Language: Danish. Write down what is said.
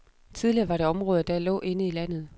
Tidligere var det områder, der lå inde i landet.